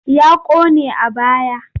Ya ƙone a baya.